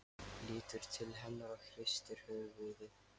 Lítur til hennar og hristir höfuðið.